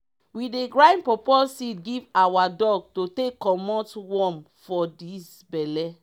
we dey grind pawpaw seed give awa dog to take commot worm for dis belle.